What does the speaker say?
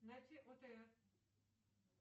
найти отр